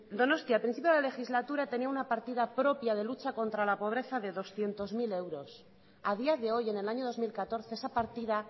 donostia a principio de la legislatura tenía una partida propia de lucha contra la pobreza de doscientos mil euros a día de hoy en el año dos mil catorce esa partida